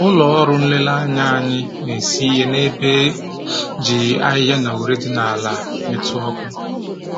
Ụlọ ọrụ nlereanya anyị na-esi ihe n'ebe e ji ahịhịa na ure dị n'ala metụ ọkụ